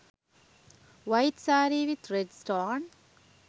white saree with red stone